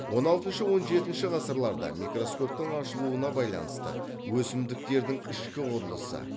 он алтыншы он жетінші ғасырларда микроскоптың ашылуына байланысты өсімдіктердің ішкі құрылысы